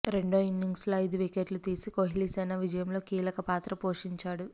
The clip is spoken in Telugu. రెండో ఇన్నింగ్స్లో ఐదు వికెట్లు తీసి కోహ్లీసేన విజయంలో కీలక పాత్ర పోషించాడు